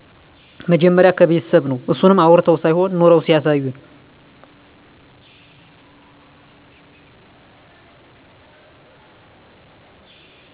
መጀመሪያ ከቤተሰብ ነው አሱንም አዉርተው ሳይሆን ኑረው ሲያሳዩን